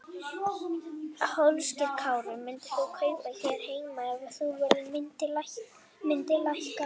Höskuldur Kári: Myndir þú kaupa hér heima ef að verð myndi lækka?